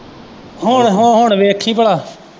ਹੁਣ ਹੁਣ ਵੇਖੀ ਭਲਾ।